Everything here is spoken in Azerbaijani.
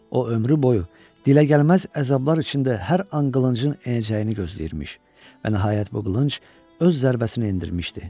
O ömrü boyu diləgəlməz əzablar içində hər an qılıncın enəcəyini gözləyirmiş və nəhayət bu qılınc öz zərbəsini endirmişdi.